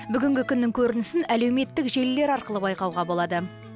бүгінгі күннің көрінісін әлеуметтік желілер арқылы байқауға болады